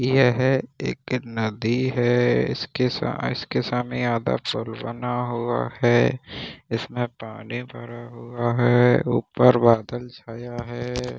यह एक नदी है इसके साथ इसके सामने आधा पूल बना हुआ है इसमें पानी भरा हुआ है ऊपर बादल छाया है।